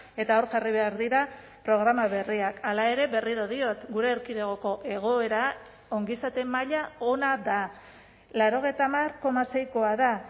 eta hor jarri behar dira programa berriak hala ere berriro diot gure erkidegoko egoera ongizate maila ona da laurogeita hamar koma seikoa da